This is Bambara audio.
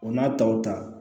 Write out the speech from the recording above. O n'a taw ta